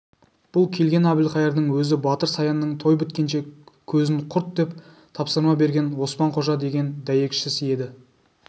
бұл келген әбілқайырдың өзі батыр саянның той біткенше көзін құртдеп тапсырма берген оспан-қожа деген дәйекшісі еді